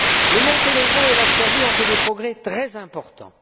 Le Monténégro et la Serbie ont fait des progrès très importants.